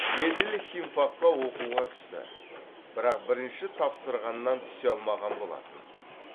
еділ химфакқа оқуға түсті бірақ бірінші тапсырғаннан түсе алмаған болатын